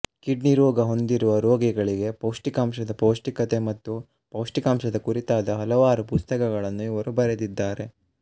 kidney ರೋಗ ಹೊಂದಿರುವ ರೋಗಿಗಳಿಗೆ ಪೌಷ್ಟಿಕಾಂಶದ ಪೌಷ್ಟಿಕತೆ ಮತ್ತು ಪೌಷ್ಟಿಕಾಂಶದ ಕುರಿತಾದ ಹಲವಾರು ಪುಸ್ತಕಗಳನ್ನು ಇವರು ಬರೆದಿದ್ದಾರೆ